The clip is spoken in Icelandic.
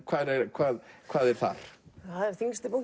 hvað hvað hvað er þar það er